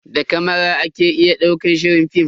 Da kamara ake daukar shirin film.